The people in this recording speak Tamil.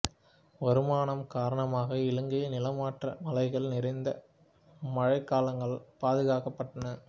வருமானம் காரணமாக இலங்கையில் நிலமற்ற மலைகள் நிறைந்த மழைக்காலங்கள் பாதுகாக்கப்பட்டன